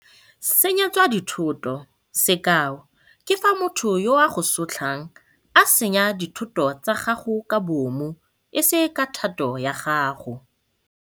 Senyetswa dithoto - Sekao ke fa motho yo a go sotlang a senya dithoto tsa gago ka bomo e se ka thato ya gago.